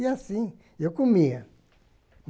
E assim, eu comia.